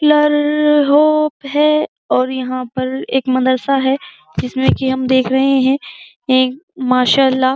है और यहाँ पर एक मदरसा है जिसमे की हम देख रहे है एक माशाल्लाह --